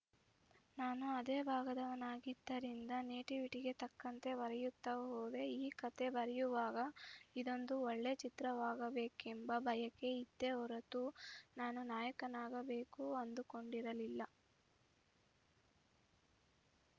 ನಾನು ಅದೇ ಭಾಗದವನಾಗಿದ್ದರಿಂದ ನೇಟಿವಿಟಿಗೆ ತಕ್ಕಂತೆ ಬರೆಯುತ್ತ ಹೋದೆ ಈ ಕತೆ ಬರೆಯುವಾಗ ಇದೊಂದು ಒಳ್ಳೆ ಚಿತ್ರವಾಗಬೇಕೆಂಬ ಬಯಕೆ ಇತ್ತೇ ಹೊರತು ನಾನು ನಾಯಕನಾಗಬೇಕು ಅಂದುಕೊಂಡಿರಲಿಲ್ಲ